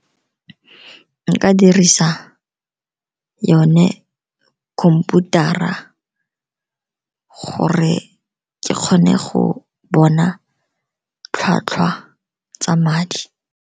Nka dirisa yone khomputara gore ke kgone go bona tlhwatlhwa tsa madi.